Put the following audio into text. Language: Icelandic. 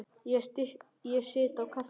Ég sit á kaffihúsi.